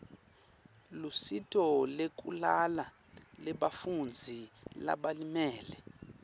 lusito lwekulala lebafundzi labalimele